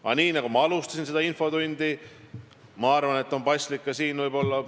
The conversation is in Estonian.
Aga nii, nagu ma ütlesin seda infotundi alustades, on minu arvates paslik seda ka lõpetada.